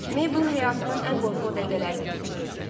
Mabel həyatının ən qorxulu dəqiqələrini keçirirdi.